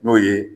N'o ye